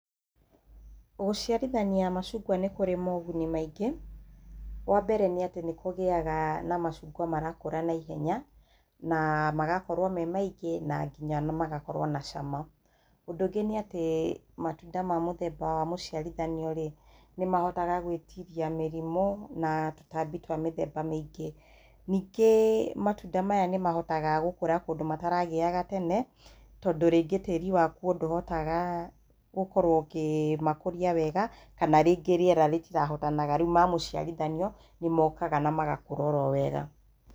Gũciarithania macungwa nĩ kũrĩ moguni maingĩ, wa mbere nĩ kũgĩaga na macungwa marakũra na ihenya, na magakowo me maingĩ na nginya magakorwo na cama. Ũndũ ũngĩ nĩ atĩ matunda ma mũthemba wa mũciarithanio rĩ, nĩmahotaga gwĩtiria mĩrimũ na tũtambi twa mĩthemba mĩingĩ. Ningĩ matunda maya nĩmahotaga gũkũra kũndũ mataragĩyaga tene, tondũ rĩngĩ tĩri wakuo ndũhotaga gũkorwo ũkĩmakũria wega, kana rĩngĩ rĩera rĩtirahotanaga rĩu ma mũciarithanio nĩmokaga na magakũra o ro wega.